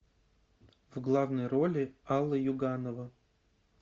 в главной роли алла юганова